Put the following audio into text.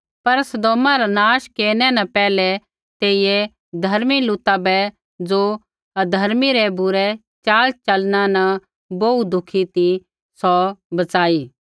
पर सदोमा रा नाश केरनै न पैहलै तेइयै धर्मी लूता बै ज़ो अधर्मी रै बुरै चाल चलना न बोहू दुखी ती सौ बच़ाई